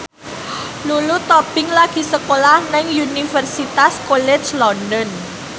Lulu Tobing lagi sekolah nang Universitas College London